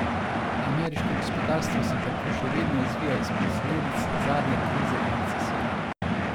Ameriško gospodarstvo se tako še vedno izvija iz posledic zadnje krize in recesije.